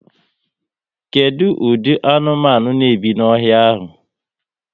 Kedụ ụdị anụmanụ n'ebi n'ọhịa ahụ?